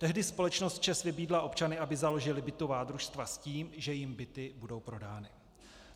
Tehdy společnost ČEZ vybídla občany, aby založili bytová družstva, s tím, že jim byty budou prodány.